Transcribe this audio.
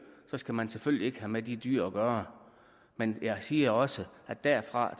så skal man selvfølgelig ikke have med de dyr at gøre men jeg siger også at derfra